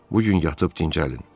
Bu gün yatıb dincəlin.